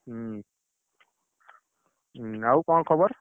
ହୁଁ, ଉଁ ଆଉ କଣ ଖବର?